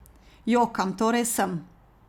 Jokam, torej sem!